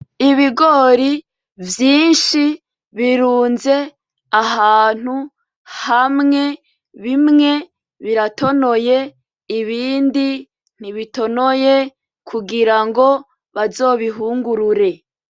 Ibigori vyinshi birunze ahantu hamwe , bimwe biratonoye ibindi ntibitonoye kugira ngo bazobihungurure.